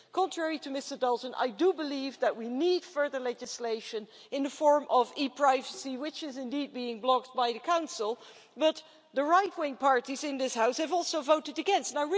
Contrary to Mr Dalton, I do believe that we need further legislation in the form of e privacy, which is indeed being blocked by the Council, but the right wing parties in this House have also voted against it.